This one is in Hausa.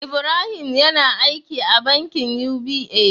Ibrahim yAna aiki a bankin UBA